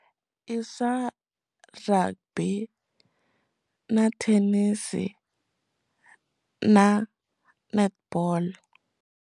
I swa rugby na tennis na netball.